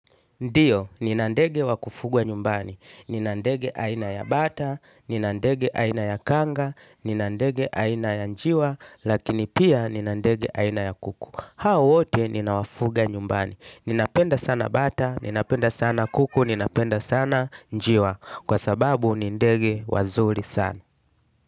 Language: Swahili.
Ndiyo, nina ndege wa kufugwa nyumbani. Nina ndege aina ya bata, nina ndege aina ya kanga, nina ndege aina ya njiwa, lakini pia nina ndege aina ya kuku. Hao wote, ninawafuga nyumbani. Ninapenda sana bata, ninapenda sana kuku, ninapenda sana njiwa. Kwa sababu, ni ndege wazuri sana.